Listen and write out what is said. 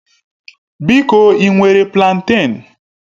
Biko ị nwere planten?